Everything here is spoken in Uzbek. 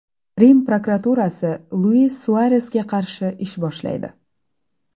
Rim prokuraturasi Luis Suaresga qarshi ish boshlaydi.